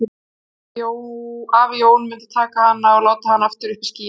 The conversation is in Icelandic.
Af því að afi Jón myndi taka hana og láta hana aftur upp í skýin.